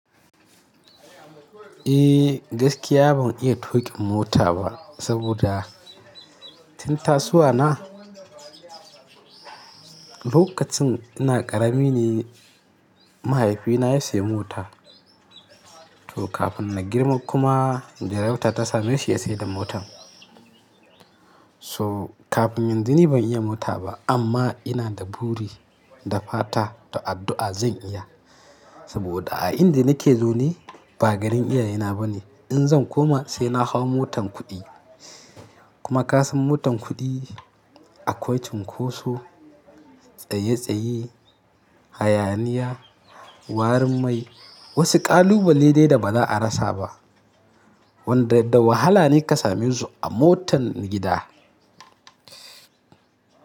Eh gaskiya ban iya tuƙin mota ba saboda tun tasuwa na, lokacin ina ƙarami ne mahaifina ya saya mota to kafin na girma kuma gayauta ta same shi ya sayi da motan. So kafin yanzu ni ban iya mota ba amma ina da buri da fata da addu'a zan iya. Saboda a inda nake zau ne ba garin iyayena ba ne. In zan koma sai na hau motan kuɗi. Kuma ka san motan kuɗi akwai cunkoso, tsaye tsaye, hayaniya, warin mai. Wasu ƙalubale dai da ba za'a rasa ba. Wanda da wahala ne ka same su a motan gida.